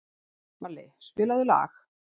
Balli, spilaðu lag.